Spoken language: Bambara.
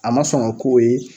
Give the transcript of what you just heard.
A ma sɔn ŋa k'o ye